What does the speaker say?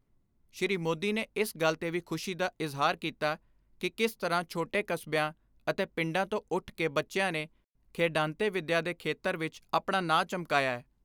ਸ਼੍ਰੀ ਮੋਦੀ ਨੇ ਇਸ ਗੱਲ ਤੇ ਵੀ ਖੁਸ਼ੀ ਦਾ ਇਜਹਾਰ ਕੀਤਾ ਕਿ ਕਿਸ ਤਰ੍ਹਾਂ ਛੋਟੇ ਕਸਬਿਆਂ ਅਤੇ ਪਿੰਡਾਂ ਤੋਂ ਉੱਠ ਕੇ ਬੱਚਿਆਂ ਨੇ, ਖੇਡਾਂਤੇ ਵਿੱਦਿਆ ਏ ਖੇਤਰ ਵਿਚ ਆਪਣਾ ਨਾਂ ਚਮਕਾਇਐ।